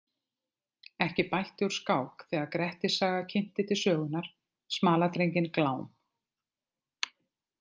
Ekki bætti úr skák þegar Grettissaga kynnti til sögunnar smaladrenginn Glám.